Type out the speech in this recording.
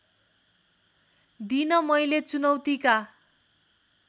दिन मैले चुनौतीका